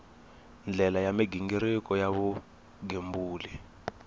ndlela ya mighiniriko ya vugembuli